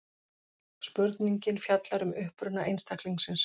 Spurningin fjallar um uppruna einstaklings.